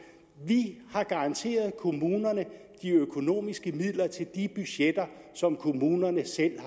vi har garanteret kommunerne de økonomiske midler til de budgetter som kommunerne selv